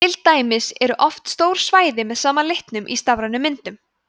til dæmis eru oft stór svæði með sama litnum í stafrænum myndum